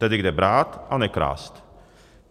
Tedy - kde brát a nekrást?